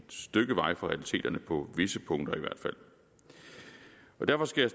stykke vej fra realiteterne på visse punkter derfor skal